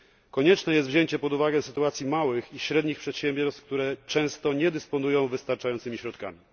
Konieczne jest wzięcie pod uwagę sytuacji małych i średnich przedsiębiorstw, które często nie dysponują wystarczającymi środkami.